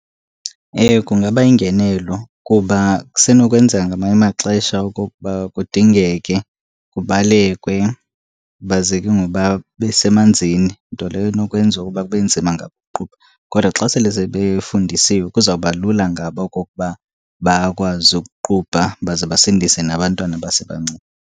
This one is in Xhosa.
Ewe, kungaba yingenelo kuba kusenokwenzeka ngamanye amaxesha okokuba kudingeke kubalekwe baze ke ngoku babe semanzini nto leyo enokwenza ukuba kube nzima ngakuqubha. Kodwa xa sele sebefundisiwe kuzawuba lula ngabo okokuba bakwazi ukuqubha baze basindise nabantwana abasebancinci.